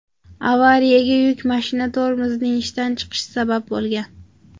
Avariyaga yuk mashinasi tormozining ishdan chiqishi sabab bo‘lgan.